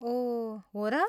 ओह, हो र?